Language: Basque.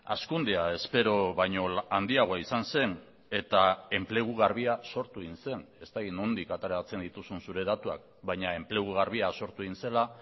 hazkundea espero baino handiagoa izan zen eta enplegu garbia sortu egin zen ez dakit nondik ateratzen dituzun zure datuak baina enplegu garbia sortu egin zela